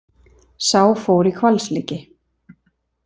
Sá fór í hvalslíki.